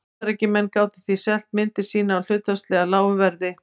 Bandaríkjamenn gátu því selt myndir sínar á hlutfallslega lágu verði.